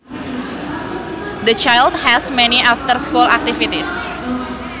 The child has many after school activities